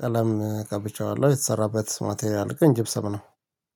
ቀለም ቀብቼዋለሁ የተሰራበት ማቴሪያል ግን ጂብሰም ነው።